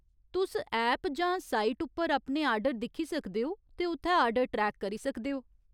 तुस ऐप जां साइट उप्पर अपने आर्डर दिक्खी सकदे ओ ते उत्थै आर्डर ट्रैक करी सकदे ओ।